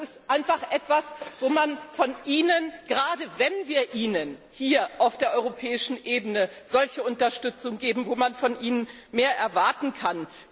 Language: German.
Das ist einfach etwas, wo man von Ihnen, gerade wenn wir Ihnen hier auf der europäischen Ebene solche Unterstützung geben, mehr erwarten kann.